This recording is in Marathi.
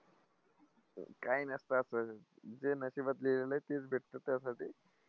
काय नसतं असं. जे नशिबात लिहिलेलं आहे तेच भेटतं त्यासाठी.